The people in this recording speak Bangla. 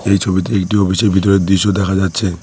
এই ছবিতে একটি অফিসের ভিতরের দৃশ্য দেখা যাচ্ছে।